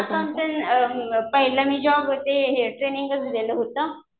पहिला मी जॉब ते हे ट्रेनिंगचं दिलं होतं.